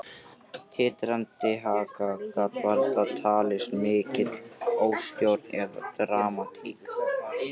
Titrandi haka gat varla talist mikil óstjórn eða dramatík.